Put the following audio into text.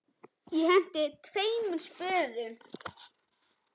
Ég henti tveimur spöðum.